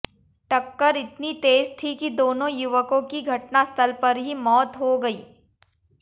टक्कर इतनी तेज थी कि दोनों युवकों की घटनास्थल पर ही मौत हो गई